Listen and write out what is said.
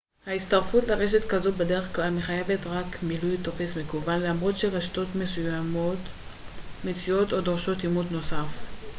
הצטרפות לרשת כזו בדרך כלל מחייבת רק מילוי טופס מקוון למרות שרשתות מסוימות מציעות או דורשות אימות נוסף